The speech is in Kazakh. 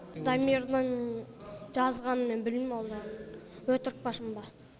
дамирдің жазғанын мен білмеймін өтірік пе шын ба